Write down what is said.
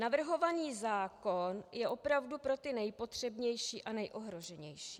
Navrhovaný zákon je opravdu pro ty nejpotřebnější a nejohroženější.